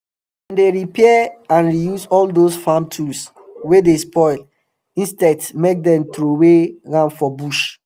dem dy repair and reuse all dose farm tools wey dey spoil instead make dem trowey am for bush